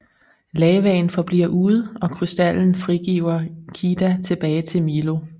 Lavaen forbliver ude og krystallen frigiver Kida tilbage til Milo